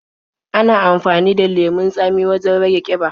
Ana amafani da lemon tsamin wajen rage ƙiba.